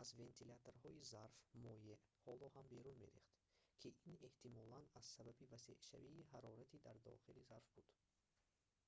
аз вентиляторҳои зарф моеъ ҳоло ҳам берун мерехт ки ин эҳтимолан аз сабаби васеъшавии ҳароратӣ дар дохили зарф буд